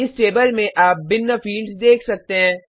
इस टेबल में आप भिन्न फ़ील्ड्स देख सकते हैं